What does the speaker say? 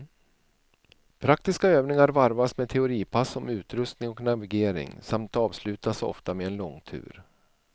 Praktiska övningar varvas med teoripass om utrustning och navigering, samt avslutas ofta med en långtur.